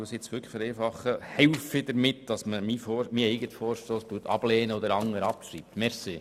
Ich vereinfache es: Helfen Sie mit, meinen eigenen Vorstoss abzulehnen und den anderen abzuschreiben!